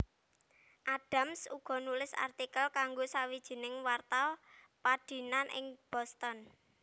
Adams uga nulis artikel kanggo sawijining warta padinan ing Boston